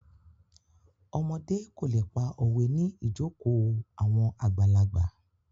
Ọmọdé kò lè pa òwe ní ìjokòó àwọn àgbàlagbà.